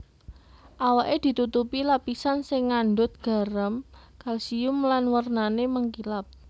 Awaké ditutupi lapisan sing ngandhut garam kalsium lan wernané mengkilap